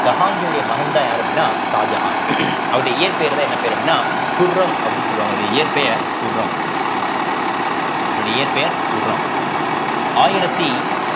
so ஜஹாங்கீருடைய மகன்தான் யாரு அப்படின்னா ஷாஜகான் அவருடைய இயற்பெயர்தான் என்ன பேரு அப்படின்னா குர்ரம் அப்படின்னு சொல்லுவாங்க அவருடைய இயற்பெயர் குர்ரம் அவருடைய இயற்பெயர் குர்ரம் ஆயிரத்தி